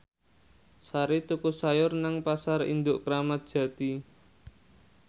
Sari tuku sayur nang Pasar Induk Kramat Jati